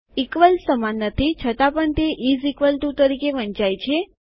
equals સમાન નથી છતાં પણ તે ઈઝ ઇકવલ ટુ તરીકે વંચાય છે